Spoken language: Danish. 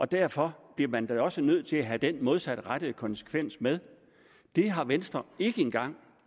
derfor bliver man da også nødt til at have den modsatrettede konsekvens med det har venstre ikke engang